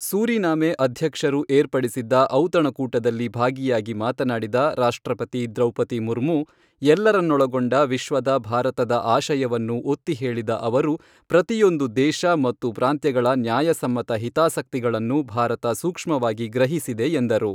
Suriname ಅಧ್ಯಕ್ಷರು ಏರ್ಪಡಿಸಿದ್ದ ಔತಣಕೂಟದಲ್ಲಿ ಭಾಗಿಯಾಗಿ ಮಾತನಾಡಿದ ರಾಷ್ಟ್ರಪತಿ ದ್ರೌಪದಿ ಮುರ್ಮು, ಎಲ್ಲರನ್ನೊಳಗೊಂಡ ವಿಶ್ವದ ಭಾರತದ ಆಶಯವನ್ನು ಒತ್ತಿ ಹೇಳಿದ ಅವರು ಪ್ರತಿಯೊಂದು ದೇಶ ಮತ್ತು ಪ್ರಾಂತ್ಯಗಳ ನ್ಯಾಯಸಮ್ಮತ ಹಿತಾಸಕ್ತಿಗಳನ್ನು ಭಾರತ ಸೂಕ್ಷ್ಮವಾಗಿ ಗ್ರಹಿಸಿದೆ ಎಂದರು.